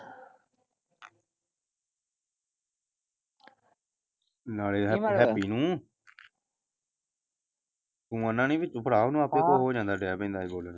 ਨਾਲੈ ਹੈਪੀ ਨੂੰ ਤੂੰ ਆਣਾ ਨੀ ਡੈ ਪੈਂਦਾ ਸੀ ਬੋਲਣ।